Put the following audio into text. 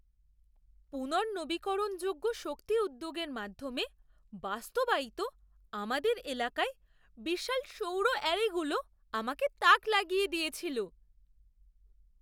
পুনর্নবীকরণযোগ্য শক্তি উদ্যোগের মাধ্যমে বাস্তবায়িত আমাদের এলাকায় বিশাল সৌর অ্যারেগুলো আমাকে তাক লাগিয়ে দিয়েছিল।